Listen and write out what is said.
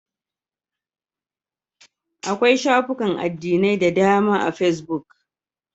Akwai shafukan addinai da dama a fesbuk.